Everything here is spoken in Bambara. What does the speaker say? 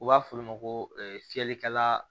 U b'a f'olu ma ko fiyɛlikɛla